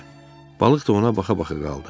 Balıq da ona baxa-baxa qaldı.